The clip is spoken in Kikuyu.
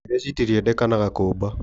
Ndege citirĩendekanaga kũmba